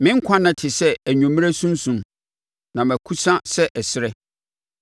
Me nkwa nna te sɛ anwummerɛ sunsum; na mekusa sɛ ɛserɛ.